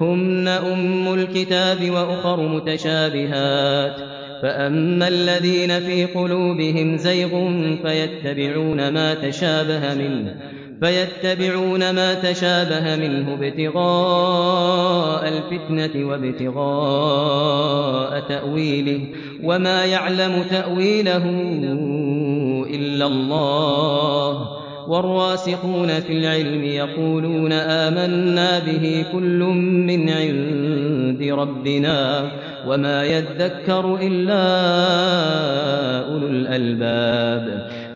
هُنَّ أُمُّ الْكِتَابِ وَأُخَرُ مُتَشَابِهَاتٌ ۖ فَأَمَّا الَّذِينَ فِي قُلُوبِهِمْ زَيْغٌ فَيَتَّبِعُونَ مَا تَشَابَهَ مِنْهُ ابْتِغَاءَ الْفِتْنَةِ وَابْتِغَاءَ تَأْوِيلِهِ ۗ وَمَا يَعْلَمُ تَأْوِيلَهُ إِلَّا اللَّهُ ۗ وَالرَّاسِخُونَ فِي الْعِلْمِ يَقُولُونَ آمَنَّا بِهِ كُلٌّ مِّنْ عِندِ رَبِّنَا ۗ وَمَا يَذَّكَّرُ إِلَّا أُولُو الْأَلْبَابِ